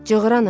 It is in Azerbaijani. Cığır anım.